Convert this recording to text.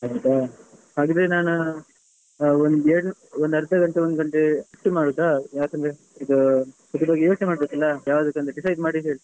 ಹೌದಾ ಹಾಗಾದ್ರೆ ನಾನು ಒಂದು ಎರಡು ಒಂದ್ ಅರ್ಧ ಗಂಟೆ ಒಂದ್ ಗಂಟೆ ಬಿಟ್ಟು ಮಾಡುದಾ ಯಾಕಂದ್ರೆ ಈಗಾ ಮೊದ್ಲು ಯೋಚ್ನೆ ಮಾಡ್ಬೇಕಲಾ ಯಾವ್ದಂತ decide ಮಾಡಿ ಹೇಳ್ತೇನೆ.